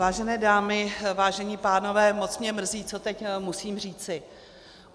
Vážené dámy, vážení pánové, moc mě mrzí, co teď musím říci.